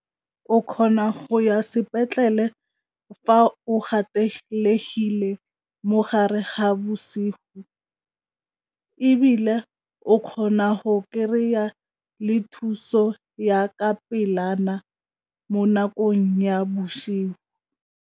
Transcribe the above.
O kgona go ya sepetlele fa o gatelegile mo gare ga bosigo ebile o kgona go kry-a le thuso ya ka pelana mo nakong ya bosigo.